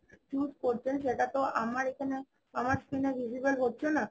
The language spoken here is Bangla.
choose করছেন সেটা তো আমার এখানে আমার screen এ visible হচ্ছে না